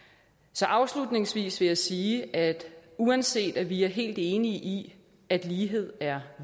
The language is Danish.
så afslutningsvis vil jeg sige at uanset at vi er helt enige i at lighed er